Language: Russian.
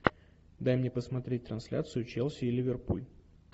дай мне посмотреть трансляцию челси и ливерпуль